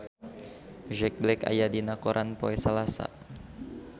Jack Black aya dina koran poe Salasa